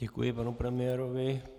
Děkuji panu premiérovi.